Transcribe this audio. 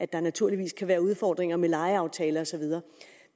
der naturligvis kan være udfordringer med lejeaftaler og så videre